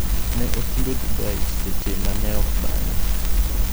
Ne otundo Dubai seche manok bang'e.